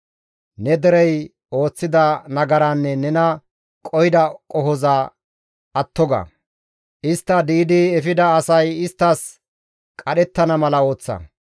Ne derey ooththida nagaraanne nena qohida qohoza atto ga; istti di7idi efida asay isttas qadhettana mala ooththa.